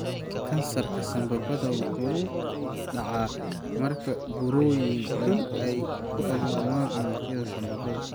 Kansarka sambabada wuxuu dhacaa marka burooyin xun ay ka abuurmaan unugyada sambabada.